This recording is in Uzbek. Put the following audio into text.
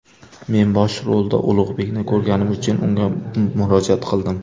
Men bosh rolda Ulug‘bekni ko‘rganim uchun, unga murojaat qildim.